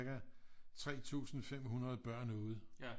3500 børn ude